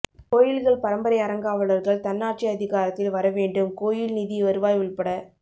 கோயில்கள் பரம்பரை அறங்காவலர்கள் தன்னாட்சி அதிகாரத்தில் வர வேண்டும் கோயில் நிதி வருவாய் உள்பட